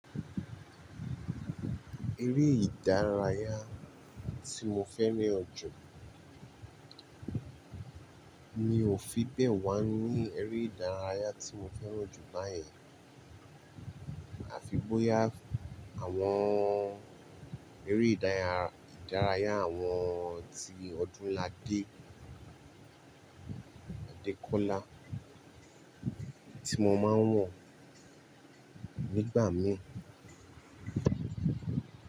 Eré ìdárayá tí mo fẹ́ ní ọ̀jọ̀ mi ò fi bẹ́ẹ̀ wá ní eré ìdárayá tí mo fẹ́ràn jù báyìí, àfi bóyá àwọn eré ìdárayá àwọn tí ọdún ládé Adekola tí mo máa ń wọ̀ nígbà mí.